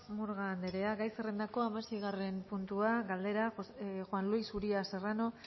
murga anderea gai zerrendako hamaseigarren puntua galdera juan luis uria serrano